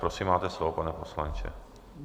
Prosím, máte slovo, pane poslanče.